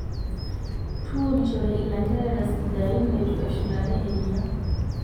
Tuunishore ilanterera sidain leitu eshulare eriyia.